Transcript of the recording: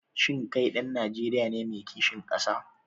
Shin kai ɗan Najeriya ne mai kishin ƙasa?